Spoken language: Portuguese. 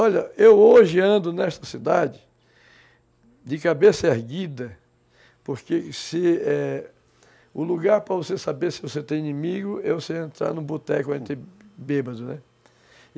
Olha, eu hoje ando nesta cidade de cabeça erguida, porque o lugar para você saber se você tem inimigo é você entrar em um boteco onde tem bêbado, né?